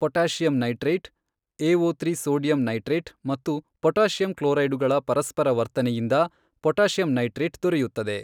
Potassium nitrite, ಏಓತ್ರೀ sodium nitrite ಮತ್ತು potassium ಕ್ಲೋರೈಡುಗಳ ಪರಸ್ಪರ ವರ್ತನೆಯಿಂದ ಪೊಟಾಷಿಯಂ ನೈಟ್ರೈಟ್ ದೊರೆಯುತ್ತದೆ.